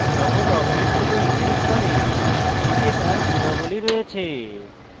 সকল objects যাতে inherit করে এতে তার গুণাবলী রয়েছে